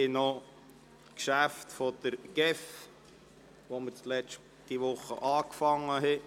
Wir behandeln die restlichen Geschäfte der GEF und beginnen an der Stelle, an der wir letzte Woche aufgehört haben.